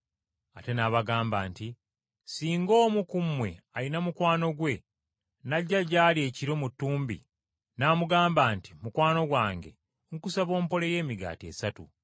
Ate n’abagamba nti, “Singa omu ku mmwe alina mukwano gwe, n’ajja gy’ali ekiro mu ttumbi n’amugamba nti, ‘Mukwano gwange, nkusaba ompoleyo emigaati esatu,